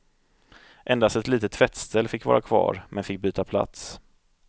Endast ett litet tvättställ fick vara kvar, men fick byta plats.